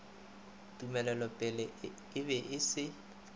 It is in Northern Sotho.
tumelelopele e be e se